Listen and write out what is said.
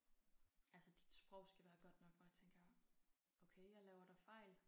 Altså dit sprog skal være godt nok hvor jeg tænker okay jeg laver da fejl